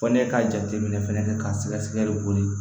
Fɔ n'i ka jateminɛ fana kɛ k'a sɛgɛsɛgɛli boli